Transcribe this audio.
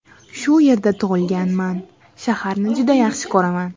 Shu yerda tug‘ilganman, shaharni juda yaxshi ko‘raman.